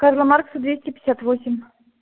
карла маркса двести пятьдесят восемь